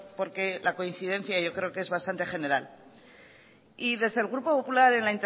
porque la coincidencia yo creo es bastante general y desde el grupo popular en